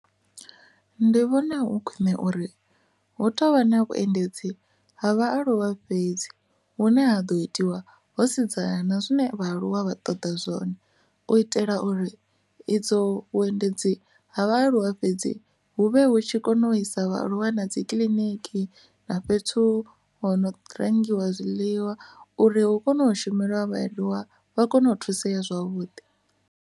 Ndi vhona hu khwine uri hu tovha na vhuendedzi ha vhaaluwa fhedzi hune ha do itiwa ho sedzana na zwine vha aluwa vha ṱoḓa zwone u itela uri idzo vhuendedzi ha vhaaluwa fhedzi hu vhe hu tshi kone u isa vhaaluwa na dzi kiḽiniki na fhethu ho no rengiwa zwiḽiwa uri hu kone u shumelwa vhaaluwa vha kone u thusiwa zwavhuḓi.